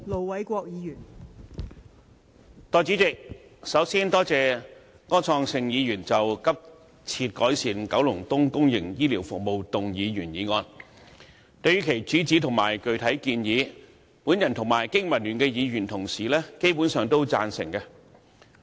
代理主席，首先，多謝柯創盛議員就"急切改善九龍東公營醫療服務"動議原議案，對於其主旨和具體建議，我和經民聯各議員同事基本上贊成。